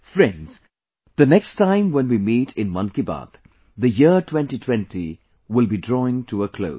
Friends, the next time when we meet in Mann Ki Baat, the year 2020 will be drawing to a close